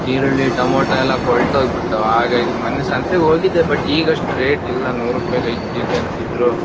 ಈರುಳ್ಳಿ ಟೊಮ್ಯಾಟೋ ಎಲ್ಲಾ ಕೋಲ್ತೊಗ್ ಬಿಡತಾವ್. ಮೊನ್ನೆ ಸಂತೆ ಗ್ ಹೋಗಿದ್ದೆ ಬಟ್ ಈಗ್ ಅಷ್ಟ್ ರೇಟ್ ಇಲ್ಲ ನೂರುಪ್ಪಾಯಿ ಗ್ ಐದ್ ಕೆ ಜಿ ಅಂತಿದ್ರು.